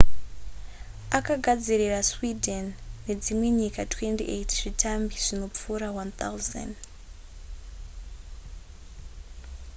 akagadzirira sweden nedzimwe nyika 28 zvitambi zvinopfuura 1 000